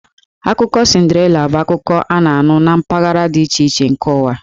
Akụkọ Cinderella bụ akụkọ ifo a na-anụ na mpaghara dị iche iche nke ụwa.